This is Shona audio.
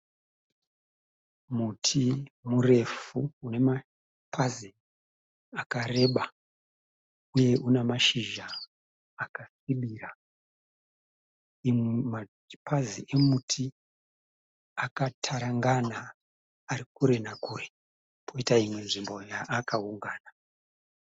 Muti murefu unemapazi akareba uye unamashizha akasvibira. Mumapazi emuti akatarangana, arikure nakure, poita imwe nzvimbo yaakaungana.